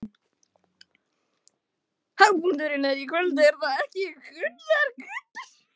Hápunkturinn er í kvöld, er það ekki, Gunnar?